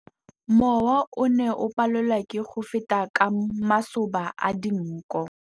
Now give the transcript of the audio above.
Mowa o ne o palelwa ke go feta ka masoba a dinko.